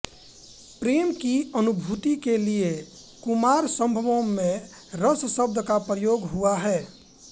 प्रेम की अनुभूति के लिए कुमारसम्भव में रस शब्द का प्रयोग हुआ है